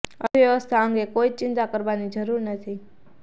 અર્થ વ્યવસ્થા અંગે કોઈ જ ચિંતા કરવાની જરુર નથી